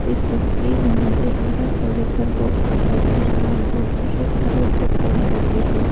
इस तस्वीर में मुझे बरा सा लेटर बॉक्स दिखाई दे रहा है। जो की रेड कलर से पेंट करके है।